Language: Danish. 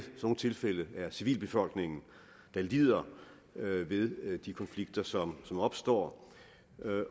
nogle tilfælde er civilbefolkningen der lider ved de konflikter som opstår